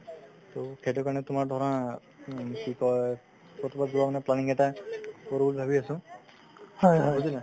সেইটোৰ কাৰণে তোমাৰ ধৰা উম কি কই ক'ৰবাত যোৱাৰ মানে planning এটা কৰো বুলি ভাবি আছো বুজিলা